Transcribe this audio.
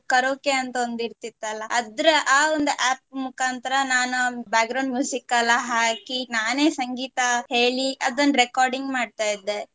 karaoke ಒಂದು ಇರ್ತಿತಲ್ಲ ಅದ್ರ ಆ ಒಂದು app ಮುಖಾಂತರ ನಾನು background ಎಲ್ಲ ಹಾಕಿ ನಾನೇ ಸಂಗೀತ ಹೇಳಿ ಅದನ್ recording ಮಾಡ್ತಾ ಇದ್ದೆ.